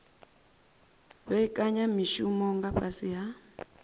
vhekanya mishumo nga fhasi ha